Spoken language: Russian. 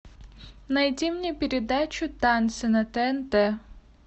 найди мне передачу танцы на тнт